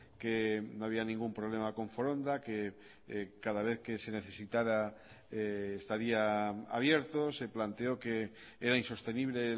que no había ningún problema con foronda que cada vez que se necesitara estaría abierto se planteó que era insostenible